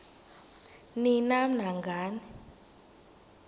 ni nam nangani